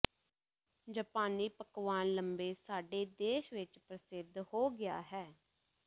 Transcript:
ਜਪਾਨੀ ਪਕਵਾਨ ਲੰਬੇ ਸਾਡੇ ਦੇਸ਼ ਵਿੱਚ ਪ੍ਰਸਿੱਧ ਹੋ ਗਿਆ ਹੈ